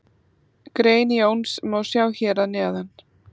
Grein Jóns má sjá hér að neðan.